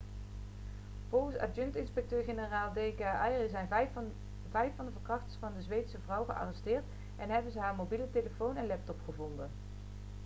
volgens adjunct-inspecteur-generaal d k arya zijn vijf van de verkrachters van de zweedse vrouw gearresteerd en hebben ze haar mobiele telefoon en laptop gevonden